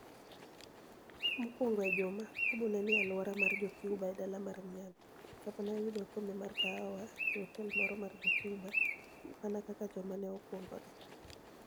Mokwonigo e juma, Babu ni e nii e alwora mar Jo-Cuba e dala mar Miami, kama ni e oyudoe okombe mar kahawa e otel moro mar Jo-Cuba mania kaka joma ni e okwonigoni e.